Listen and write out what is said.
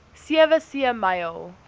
sewe see myl